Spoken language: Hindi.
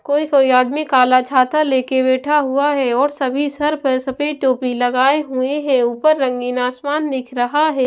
कोई कोई आदमी काला छाता लेकर बैठा हुआ है और सभी सर पर सफेद टोपी लगाए हुए हैं ऊपर रंगीन आसमान दिख रहा है ।